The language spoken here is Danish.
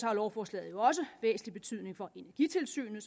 har lovforslaget jo også væsentlig betydning for energitilsynet